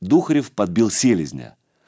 духарев подбил селезня